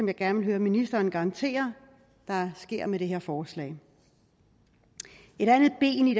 jeg gerne vil høre ministeren garantere der sker med det her forslag et andet ben i